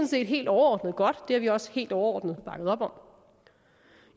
set helt overordnet godt det har vi også helt overordnet bakket op om